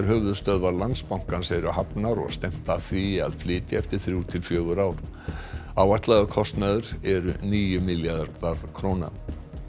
höfuðstöðvar Landsbankans eru hafnar og stefnt að því að flytja eftir þrjú til fjögur ár áætlaður kostnaður er níu milljarðar króna